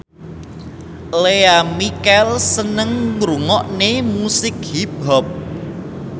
Lea Michele seneng ngrungokne musik hip hop